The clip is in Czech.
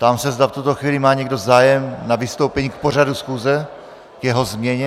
Ptám se, zda v tuto chvíli má někdo zájem na vystoupení k pořadu schůze, k jeho změně.